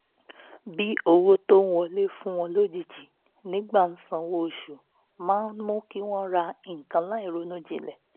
bí owó tó ń wọlé fún wọn lójijì nígbà sanwó oṣù máa ń mú kí wọ́n ra nǹkan láìronú jinlẹ̀